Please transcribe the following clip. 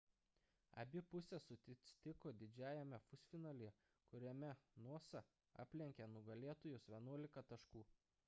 abi pusės susitiko didžiajame pusfinalyje kuriame noosa aplenkė nugalėtojus 11 taškų